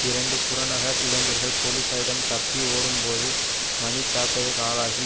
இரண்டு புறநகர் இளைஞர்கள் போலீசாரிடம் தப்பி ஒடும்போது மன்தாக்குதலுக்கு ஆளாகி